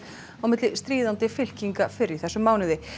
milli stríðandi fylkinga fyrr í þessum mánuði